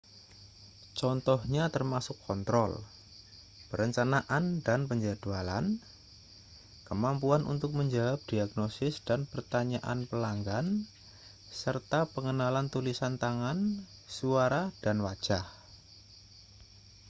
contohnya termasuk kontrol perencanaan dan penjadwalan kemampuan untuk menjawab diagnosis dan pertanyaan pelanggan serta pengenalan tulisan tangan suara dan wajah